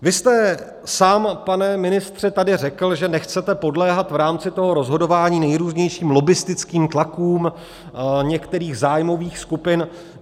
Vy jste sám, pane ministře, tady řekl, že nechcete podléhat v rámci toho rozhodování nejrůznějším lobbistickým tlakům některých zájmových skupin.